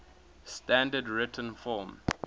standard written form